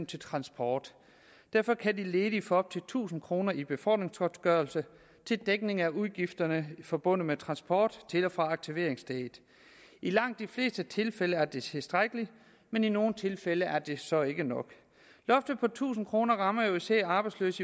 til transport derfor kan de ledige få op til tusind kroner i befordringsgodtgørelse til dækning af udgifterne forbundet med transport til og fra aktiveringsstedet i langt de fleste tilfælde er det tilstrækkeligt men i nogle tilfælde er det så ikke nok loftet på tusind kroner rammer jo især arbejdsløse